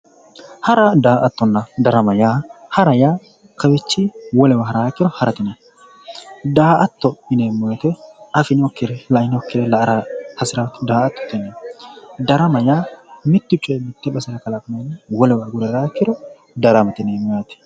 Hara daa'attona darama yaa, hara yaa kawiichinni wolewa harate yinayi daa'atto yineemmo wote afinokkire lainokkire la'ara hasira daa'attote yinayi. darama yaa mittu coyi mitte basera kalaqameenna wolewa agure haraa ikkiro darama daramate yineemmo yaate.